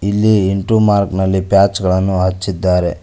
ಇಲ್ಲಿ into mark ನಲ್ಲಿ patch ಗಳನ್ನು ಹಚ್ಚಿದ್ದಾರೆ.